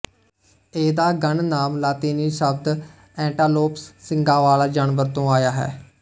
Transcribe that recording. ਇਹਦਾ ਗਣ ਨਾਮ ਲਾਤੀਨੀ ਸ਼ਬਦ ਐਂਟਾਲੋਪਸ ਸਿੰਗਾਂ ਵਾਲਾ ਜਾਨਵਰ ਤੋਂ ਆਇਆ ਹੈ